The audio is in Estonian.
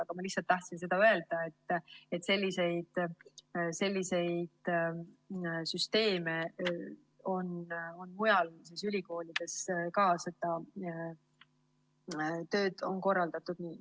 Aga ma tahtsin lihtsalt öelda, et selliseid süsteeme on mujal ülikoolides ka, seda tööd on nii korraldatud.